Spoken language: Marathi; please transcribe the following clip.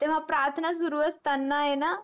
तेवा प्रार्थना सुरु असताना येणा.